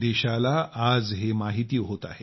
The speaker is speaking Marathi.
देशाला आज हे माहिती होत आहे